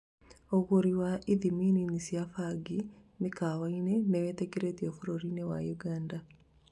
ũgũri wa ithimi nini cĩa bangi 'mĩkawaini' nĩwĩtĩkĩrĩtio bũrũri-inĩ wa Uganda